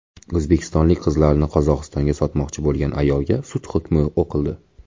O‘zbekistonlik qizlarni Qozog‘istonga sotmoqchi bo‘lgan ayolga sud hukmi o‘qildi.